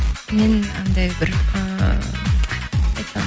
мен андай бір ыыы қалай айтсам